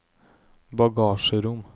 bagasjerom